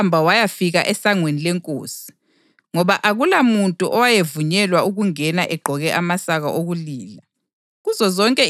Kodwa wahamba wayafika esangweni lenkosi, ngoba akulamuntu owayevunyelwa ukungena egqoke amasaka okulila.